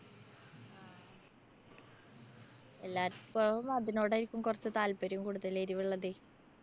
എല്ലാര്‍ക്കും അതിനോടായിരിക്കും കൊറച്ച് താല്‍പര്യം കൂടുതലെ. എരിവുള്ളതേ.